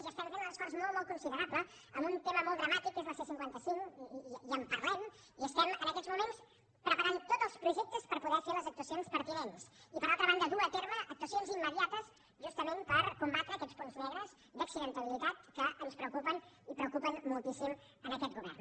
i estem fent un esforç molt molt considerable en un tema molt dramàtic que és la c cinquanta cinc i en parlem i estem en aquests moments preparant tots els projectes per poder fer les actuacions pertinents i per altra banda dur a terme actuacions immediates justament per combatre aquests punts negres d’accidentabilitat que ens preocupen i preocupen moltíssim aquest govern